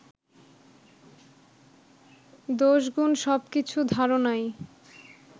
দোষগুণ সবকিছু ধারনাই